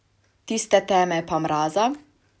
Tiste teme pa mraza?